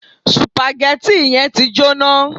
Sùpàgẹ́tì yẹn ti jóná.